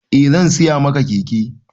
Eh zan siya maka keke